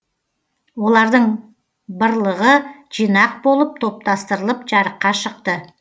олардың бырлығы жинақ болып топтастырылып жарыққа шықты